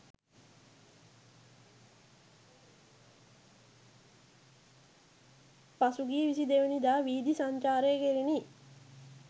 පසුගිය 22 දා වීථි සංචාරය කෙරිණි.